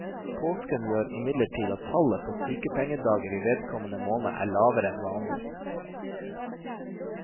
Påsken gjør imidlertid at tallet på sykepengedager i vedkommende måned er lavere enn vanlig.